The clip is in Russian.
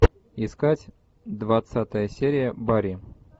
искать двадцатая серия барри